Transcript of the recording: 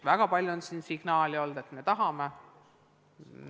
Väga palju on tulnud signaale, et me tahame.